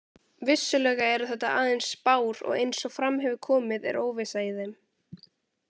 Vissulega eru þetta aðeins spár og eins og fram hefur komið er óvissa í þeim.